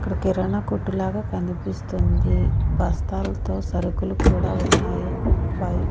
ఇక్కడ కిరాణ కొట్టులాగ కనిపిస్తుంది బస్తాలతో సరుకులు కూడా ఉన్నాయి బై--